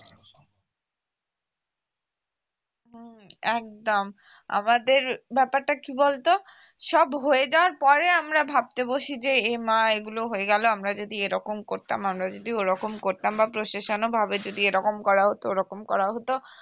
একদম আমাদের ব্যাপারটা কি বলতো সব হয়ে যাবার পরে আমরা ভাবতে বসি যে এই মা এগুলো হয়ে গেল আমরা যদি এরকম করতাম আমরা যদি ওরকম করতাম বা প্রশাসন ও ভাবে যদি এরকম করা হতো ওরকম করা হতো